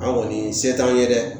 An kɔni se t'an ye dɛ